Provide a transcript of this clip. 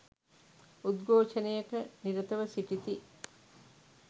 උද්ඝෝෂණයක නිරතව සිටිති